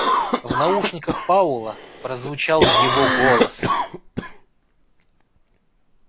в наушниках паула прозвучал его голос